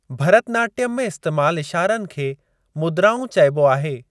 भरतनाट्यम में इस्‍तेमाल इशारनि खे मुद्राऊं चइबो आहे।